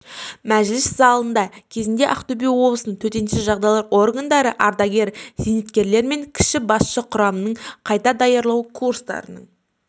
мәжіліс залында кезінде ақтөбе облысының төтенше жағдайлар органдары ардагер-зейнеткерлерімен кіші басшы құрамның қайта даярлау курстарының